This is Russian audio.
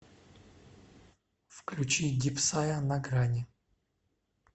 включи дипсая на грани